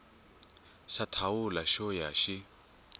xa thawula xo ya xi